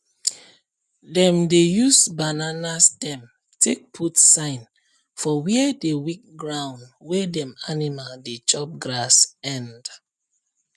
dem dey use banana stem take put sign for where the weak ground wey dem animal dey chop grass end